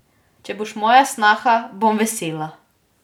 Če boš moja snaha, bom vesela.